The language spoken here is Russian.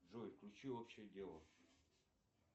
джой включи общее дело